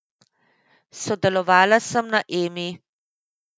Sodelovala sem na Emi.